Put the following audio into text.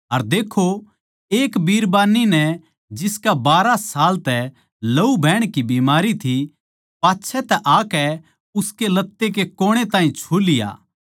अर देक्खो एक बिरबान्नी नै जिसकै बारहां साल तै लहू बहण की बीमारी थी पाच्छै तै आकै उसकै लत्ते के कोणे ताहीं छु लिया